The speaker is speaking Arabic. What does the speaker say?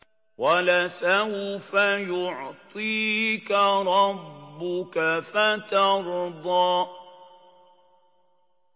وَلَسَوْفَ يُعْطِيكَ رَبُّكَ فَتَرْضَىٰ